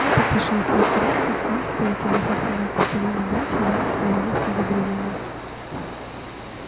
он поспешил встать с рельсов и перетянув автомат со спины на грудь занял своё место за дрезиной